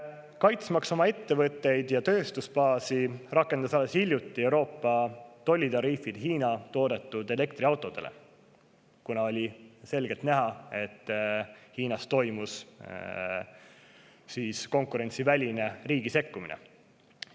Kaitsmaks oma ettevõtteid ja tööstusbaasi, rakendas Euroopa alles hiljuti tollitariifid Hiina toodetud elektriautodele, kuna oli selgelt näha, et Hiinas toimus konkurentsiväline riigi sekkumine.